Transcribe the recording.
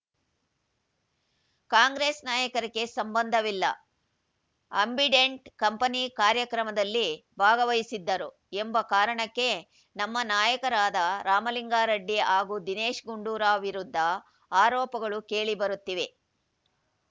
ಕಾಂಗ್ರೆಸ್‌ ನಾಯಕರಿಗೆ ಸಂಬಂಧವಿಲ್ಲ ಅಂಬಿಡೆಂಟ್‌ ಕಂಪೆನಿ ಕಾರ್ಯಕ್ರಮದಲ್ಲಿ ಭಾಗವಹಿಸಿದ್ದರು ಎಂಬ ಕಾರಣಕ್ಕೆ ನಮ್ಮ ನಾಯಕರಾದ ರಾಮಲಿಂಗಾರೆಡ್ಡಿ ಹಾಗೂ ದಿನೇಶ್‌ ಗುಂಡೂರಾವ್‌ ವಿರುದ್ಧ ಆರೋಪಗಳು ಕೇಳಿ ಬರುತ್ತಿವೆ